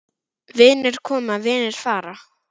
Vinir koma, vinir fara.